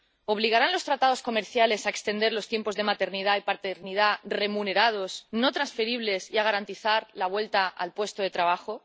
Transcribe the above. ¿Obligarán los tratados comerciales a extender los tiempos de maternidad y paternidad remunerados, no transferibles, y a garantizar la vuelta al puesto de trabajo?